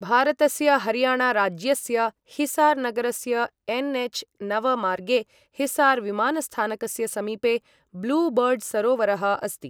भारतस्य हरियाणा राज्यस्य हिसार नगरस्य एनएच नव मार्गे हिसार विमानस्थानकस्य समीपे ब्लू बर्ड् सरोवरः अस्ति ।